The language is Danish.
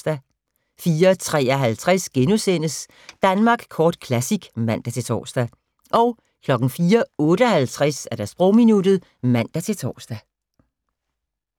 04:53: Danmark Kort Classic *(man-tor) 04:58: Sprogminuttet (man-tor)